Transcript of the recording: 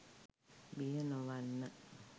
බිය නොවන්න